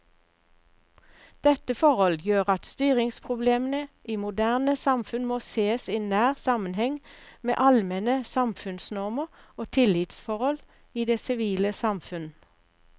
Dette forhold gjør at styringsproblemene i moderne samfunn må sees i nær sammenheng med allmenne samfunnsnormer og tillitsforhold i det sivile samfunn.